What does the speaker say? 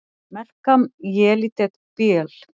Melkam Yelidet Beaal!